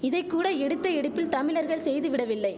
இதைக்கூட எடுத்த எடுப்பில் தமிழர்கள் செய்து விடவில்லை